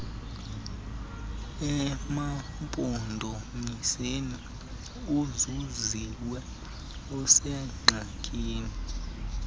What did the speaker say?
emampondomiseni uzuziwe usengxakini